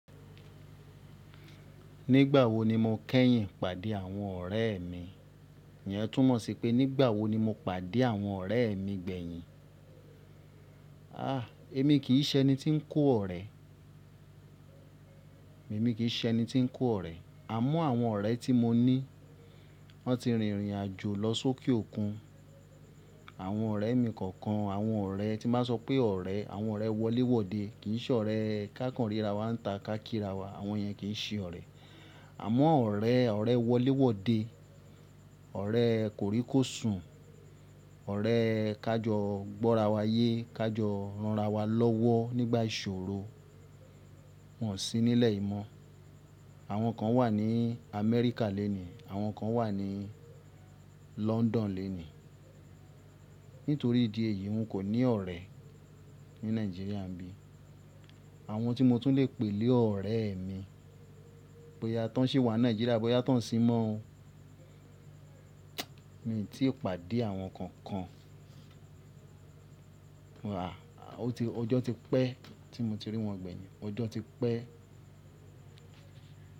Nígbà wo ni mo kẹ́yìn pàdé àwọn ọ̀rẹ́ mi? Ìyẹn túmọ̀ sí pé nígbà wo ni mo pàdé àwọn ọ̀rẹ́ mi gbẹ̀yìn? Àh! Èmi kì í ṣe ẹni tí ń kó ọ̀rẹ́. Èmi kì í ṣe ẹni tí ń kó ọ̀rẹ́. Àmọ́ àwọn ọ̀rẹ́ tí mo ní wọ́n ti rìnrìn àjò lọ sókè òkun. Àwọn ọ̀rẹ́ mi kọ̀ọ̀kan, àwọn ọ̀rẹ́ tí n bá sọ pé ọ̀rẹ́, àwọn ọ̀rẹ́ wọléwọ̀de kì í ṣe ọ̀rẹ́. Kákàn rira wa ń ta kákìra wa àwọn yẹn kì í ṣe ọ̀rẹ́. Àmọ́ ọ̀rẹ́, ọ̀rẹ́ wọléwọ̀de, ọ̀rẹ́ kòríkòsùn, ọ̀rẹ́ ká jọ gbọ́ra wa yé, ká jọ ránra wa lọ́wọ́ nígbà ìṣòro wọ́n sì nílẹ̀yi mọ̀. Àwọn kan wà ní Amẹ́ríkà lénìí, àwọn kan wà ní London lénìí. Nítorí ìdí èyí n kò ní ọ̀rẹ́ ní Nàìjíríà bí i. Àwọn tí mo tún le pè lé ọ̀rẹ́ mi, bóyá tọn ṣi wà ní Nàìjíríà, bóyá tọn ṣí mọ́ mi tí ó pàdé àwọn kankan. Àh! Ojo ti pẹ́ tí mo ti rí wọn gbẹ̀yìn. Ọjọ́ ti pẹ́.